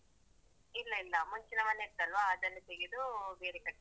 ಇಲ್ಲ ಇಲ್ಲ ಮುಂಚಿನ ಮನೆ ಇತ್ತಲ್ವ ಅದನ್ನೆ ತೆಗೆದು ಬೇರೆ ಕಟ್ಟಿದ್ದು.